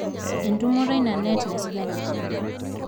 entumoto ina neet naisuja tolchani